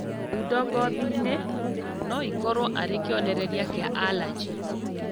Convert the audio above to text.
Thundo ngothi-inĩ noikorwo arĩ kĩonereria kĩa arajĩ